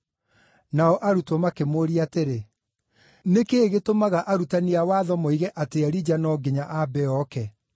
Nao arutwo makĩmũũria atĩrĩ, “Nĩkĩ gĩtũmaga arutani a watho moige atĩ Elija no nginya aambe ooke?”